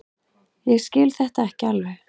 Ég skil þetta ekki alveg.